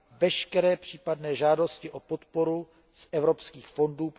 veškeré případné žádosti o podporu z Evropských fondů.